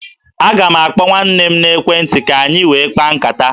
Aga m akpọ nwanne m n'ekwentị ka anyị wee kpaa nkata